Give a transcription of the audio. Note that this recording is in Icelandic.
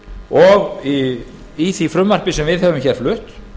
og í því frumvarpi sem við höfum hér flutt